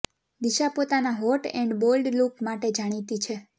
દિશા પોતાના hot and bold look માટે પણ જાણીતી છે